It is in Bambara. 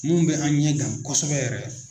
Mun bɛ an ɲɛgan kosɛbɛ yɛrɛ.